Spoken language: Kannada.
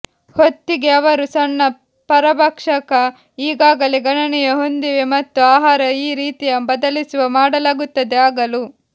ಹೊತ್ತಿಗೆ ಅವರು ಸಣ್ಣ ಪರಭಕ್ಷಕ ಈಗಾಗಲೇ ಗಣನೀಯ ಹೊಂದಿವೆ ಮತ್ತು ಆಹಾರ ಈ ರೀತಿಯ ಬದಲಿಸುವ ಮಾಡಲಾಗುತ್ತದೆ ಆಗಲು